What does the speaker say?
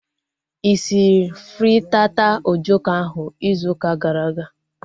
Ị sịrị frittata ojoko ahu izu ụka gara aga?